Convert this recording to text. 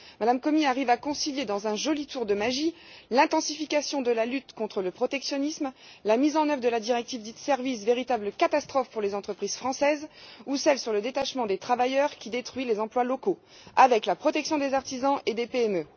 Mme Comi arrive à concilier, dans un joli tour de magie, l'intensification de la lutte contre le protectionnisme, la mise en œuvre de la directive Services, véritable catastrophe pour les entreprises françaises, ou celle sur le détachement des travailleurs, qui détruit les emplois locaux, avec la protection des artisans et des PME.